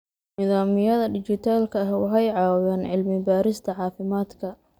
Nidaamyada dhijitaalka ah waxay caawiyaan cilmi-baarista caafimaadka.